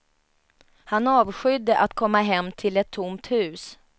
Han avskydde att komma hem till ett tomt hus.